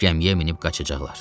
Gəmiyə minib qaçacaqlar.